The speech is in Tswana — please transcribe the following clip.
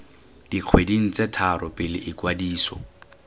dikgweding tse tharo pele ikwadiso